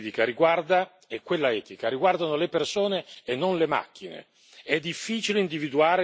Aggiungo che la dimensione giuridica e quella etica riguardano le persone e non le macchine.